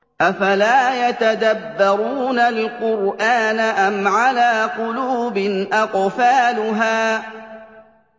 أَفَلَا يَتَدَبَّرُونَ الْقُرْآنَ أَمْ عَلَىٰ قُلُوبٍ أَقْفَالُهَا